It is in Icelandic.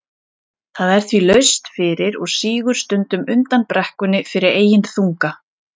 Það er því laust fyrir og sígur stundum undan brekkunni fyrir eigin þunga.